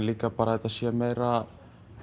líka bara að þetta sé meira